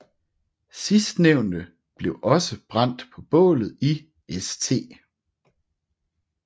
Sidstnævnte blev brændt på bålet i St